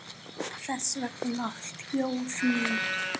Þess vegna þjóð mín!